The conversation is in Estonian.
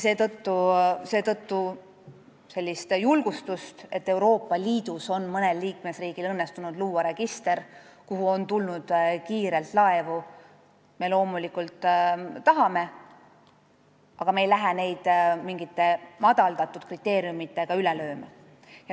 Seetõttu me loomulikult tahame julgustust, mida annab see, kui Euroopa Liidus on mõnel liikmesriigil õnnestunud luua register, kuhu on kiirelt laevu tulnud, aga me ei lähe teisi mingite madaldatud kriteeriumitega üle lööma.